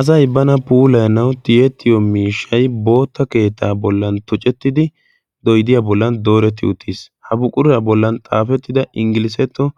Asay bana puulaanau tiyettiyo miishshai bootta keettaa bollan tucettidi doidiyaa bollan dooretti uttiis ha buquraa bollan xaafettida inggilisetto